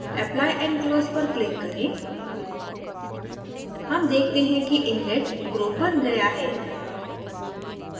apply and close पर click करें हम देखते हैं कि inlet group बन गया है